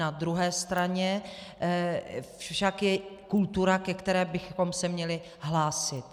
Na druhé straně však je kultura, ke které bychom se měli hlásit.